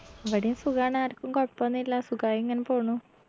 ഇവിടേം സുഖാണ് ആർക്കും കൊഴപ്പൊന്നുല്ല സുഖായിങ്ങനെ പോണു